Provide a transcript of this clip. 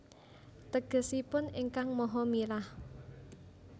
Tegesipun Ingkang Maha Mirah